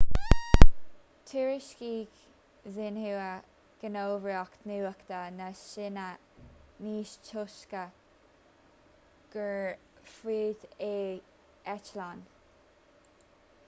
thuairiscigh xinhua gníomhaireacht nuachta na síne níos túisce gur fuadaíodh eitleán